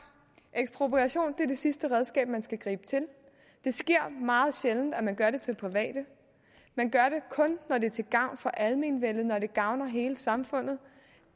ekspropriation er det sidste redskab man skal gribe til det sker meget sjældent at man gør det med private man gør det kun når det er til gavn for almenvellet altså når det gavner hele samfundet